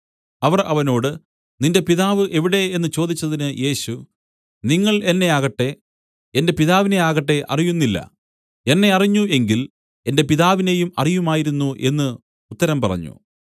അവർ അവനോട് നിന്റെ പിതാവ് എവിടെ എന്നു ചോദിച്ചതിന് യേശു നിങ്ങൾ എന്നെ ആകട്ടെ എന്റെ പിതാവിനെ ആകട്ടെ അറിയുന്നില്ല എന്നെ അറിഞ്ഞ് എങ്കിൽ എന്റെ പിതാവിനെയും അറിയുമായിരുന്നു എന്നു ഉത്തരം പറഞ്ഞു